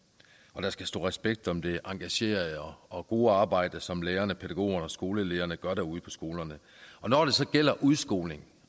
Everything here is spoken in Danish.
og der skal stå respekt om det engagerede og gode arbejde som lærerne pædagogerne og skolelederne gør derude på skolerne når det så gælder udskoling